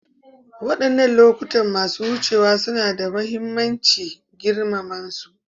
Wadannan lokuta masu wucewa suna da mahimmanci; girmama su.